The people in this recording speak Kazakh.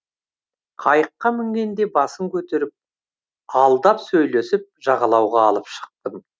қайыққа мінгенде басын көтеріп алдап сөйлесіп жағалауға алып шықтым